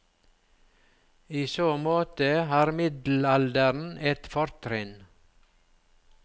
I så måte har middelalderen et fortrinn.